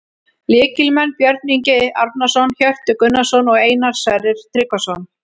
Lykilmenn: Björn Ingi Árnason, Hjörtur Gunnarsson og Einar Sverrir Tryggvason